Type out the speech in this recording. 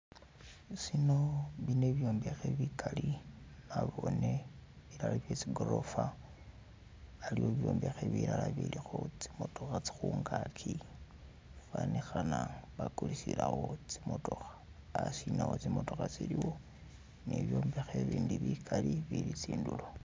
Shino, bino bibyombekhe bigali nabone bilala bye tsigorofa aliwo bibyombekhe bilala bilikho tsi mootokha khungagi ifanikhana bagulisilawo tsi mootokha hasi nawo tsimotokha tsiliwo ni byombekhe ibindi bigali bili tsindulo.